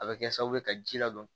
A bɛ kɛ sababu ye ka ji ladon